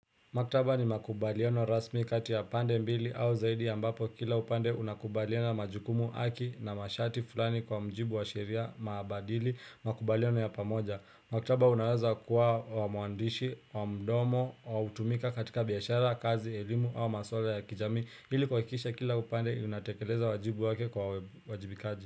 Maktaba ni makubaliano rasmi kati ya pande mbili au zaidi ambapo kila upande unakubaliana majukumu haki na masharti fulani kwa mujibu wa sheria maabadili makubaliano ya pamoja. Maktaba unaweza kuwa wa mwandishi, wa mdomo, wa kutumika katika biashara, kazi, elimu, au maswala ya kijamii. Ili kuhakikisha kila upande unatekeleza wajibu wake kwa uwajibikaji.